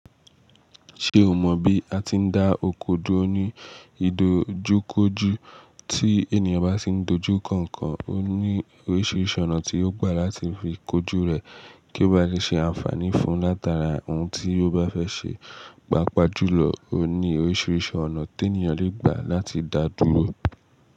Ṣé o mọ bí a ti ń dá oko dúró ní ìdojúkójú? Tí ènìyàn bá sì ń dojú nkankan, ó ní oríṣiríṣi ọ̀nà tí yio gbà láti fi kojú rẹ̀ kí ó ba lè ṣe àǹfààní fún látara ohun tí ó bá fẹ́ ṣe. Pápa jùlọ, ó ní oríṣiríṣi ọ̀nà tí ènìyàn le gbà láti dá dúró.